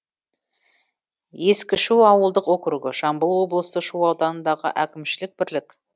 ескішу ауылдық округі жамбыл облысы шу ауданындағы әкімшілік бірлік